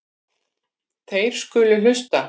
Þeir skulu hlusta.